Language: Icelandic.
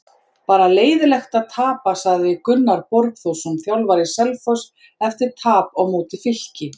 Bara leiðinlegt að tapa sagði Gunnar Borgþórsson þjálfari Selfoss eftir tap á móti Fylki.